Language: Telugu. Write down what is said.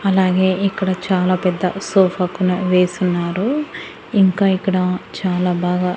అలాగే ఇక్కడ చాలా పెద్ద సోఫా కూడా వేసి ఉన్నారు ఇంకా ఇక్కడ చాలా బాగా--